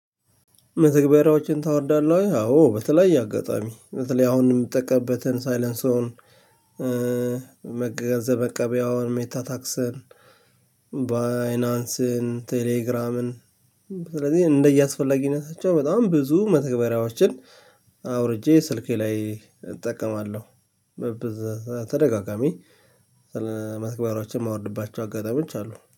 መተግበሪያዎችን ታወርዳለህ ወይ አዎ በተለያየ አጋጣሚ በተለያየ አሁን እምጠቀምበትን ሳይለንሶወን። ገንዘብ መቀበያውን ሜታ ታክስን ባይናንስን ቴሌግራምን። ስለዚህ እንደየ አስፈላጊነታቸው በጣም ብዙ መተግበሪያዎችን አውርጄ ስልኬ ላይ እጠቀማለሁ። በበዛ ተደጋጋሚ ስለመተግበራቸው ማወርድባቸው አጋጣሚዎች አሉ